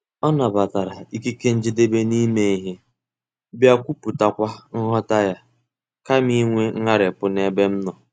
Ọ nabatara ikike njedebe n'ime ihe, bịa kwuputakwa nghọta ya, kama inwe ngharipu n'ebe m nọ.